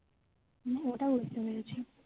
না ওটা বুঝতে পেরেছি